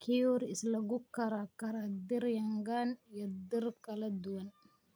Curry is lagu karaa karaa dhir yangan iyo dhir kala duwan.